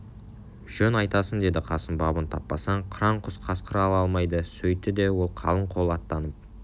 жөн айтасың деді қасым бабын таппасаң қыран құс қасқыр ала алмайды сөйтті де ол қалың қол аттанып